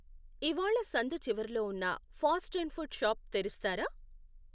ఇవ్వాళ సందు చివరిలో ఉన్న ఫాస్ట్ అండ్ ఫుడ్ షాప్ తెరుస్తారా